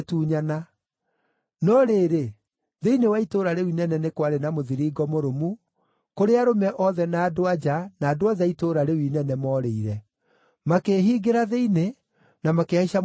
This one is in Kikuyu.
No rĩrĩ, thĩinĩ wa itũũra rĩu inene nĩ kwarĩ na mũthiringo mũrũmu kũrĩa arũme othe na andũ-a-nja, na andũ othe a itũũra rĩu inene, moorĩire. Makĩĩhingĩra thĩinĩ, na makĩhaica mũthiringo igũrũ.